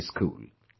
High School